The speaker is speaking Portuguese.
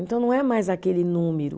Então não é mais aquele número,